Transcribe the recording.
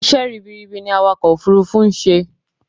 Isẹ́ ribiribi ni awakọ̀ òfurufú nń ṣe